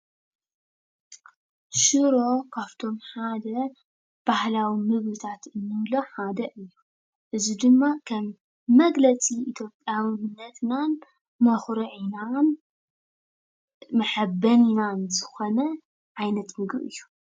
ሽሮ ካብቶም ሓደ ባህላዊ ምግብታት እንብሎ ሓደ እዩ፡፡ እዚ ድማ ከም መግለፂ ኢትዮጵያዊነትናን መኹርዒናን መሓበኒናን ዝኾነ ዓይነት ምግቢ እዩ፡፡